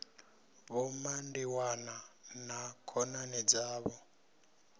vho mandiwana na khonani dzavho